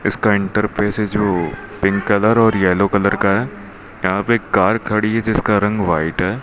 इसका इंटरफेस है जो पिंक कलर और येलो कलर का है यहां पे कर खड़ी है जिसका रंग व्हाइट है।